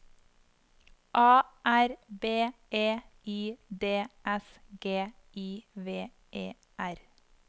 A R B E I D S G I V E R